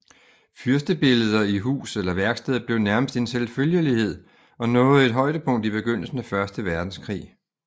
Fyrstebilleder i hus eller værksted blev nærmest en selvfølgelighed og nåede et højdepunkt i begyndelsen af første verdenskrig